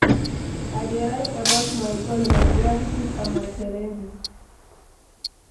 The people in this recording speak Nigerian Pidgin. I dey write about my goals, my gratitude, and my challenges.